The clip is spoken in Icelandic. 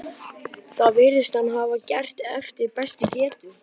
Það virðist hann hafa gert eftir bestu getu.